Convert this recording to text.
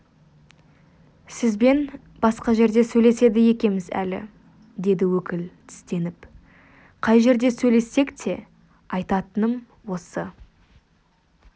сізбен басқа жерде сөйлеседі екеміз әлі деді өкіл тістеніп қай жерде сөйлессек те айтатыным осы